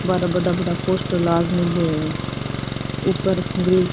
बार बड़ा बड़ा पोस्टर लाग मेला है ऊपर --